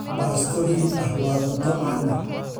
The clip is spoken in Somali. Baasto hilib ah waa cunto caan ah.